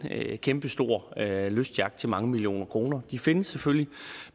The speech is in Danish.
kæmpestor lystyacht til mange millioner kroner de findes selvfølgelig